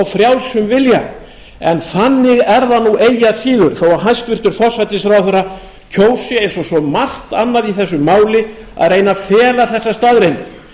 frjálsum vilja en þannig er það nú eigi að síður þó að hæstvirtur forsætisráðherra kjósi eins og svo margt annað í þessu máli að reyna að fela þessa staðreynd